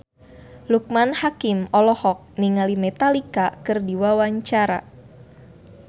Loekman Hakim olohok ningali Metallica keur diwawancara